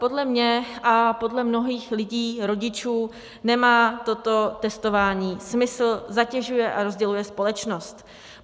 Podle mě a podle mnohých lidí, rodičů nemá toto testování smysl, zatěžuje a rozděluje společnost.